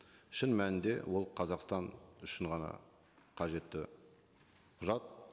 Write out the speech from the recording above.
шын мәнінде ол қазақстан үшін ғана қажетті құжат